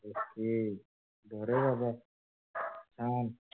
हम्म अरे बाबा